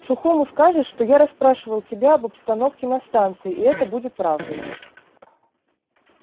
сухому скажешь что я расспрашивал тебя об обстановке на станции и это будет правдой